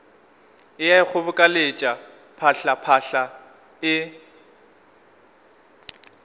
e a ikgobokeletša phatlaphatla e